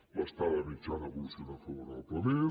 l’estada mitjana ha evolucionat favorablement